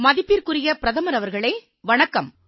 மதிப்பிற்குரிய பிரதமர் அவர்களே வணக்கம்